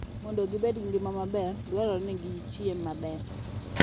Mondo gibed gi ngima maber, dwarore ni gichiem maber.